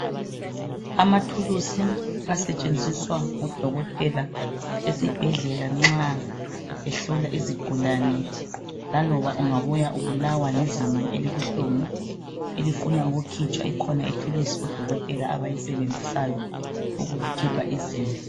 Amathulusi asetshenziswa ngodokotela esibhedllela nxa ehlola izigulane. Laloba ungabuya ubulawa lizinyo, elibuhlungu, elifuna ukukhitshwa. Ikhona ithulusi odokotela, abayisebenzisayo, ukukukhipha izinyo.